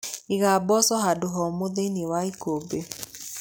Iga mboco handũ homũ thĩiniĩ wa ikũmbĩ.